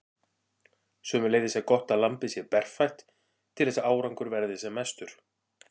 Sömuleiðis er gott að lambið sé berfætt til þess að árangur verði sem mestur.